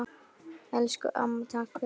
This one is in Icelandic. Elsku amma, takk fyrir mig.